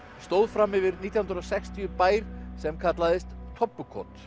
stóð fram yfir nítján hundruð og sextíu bær sem kallaðist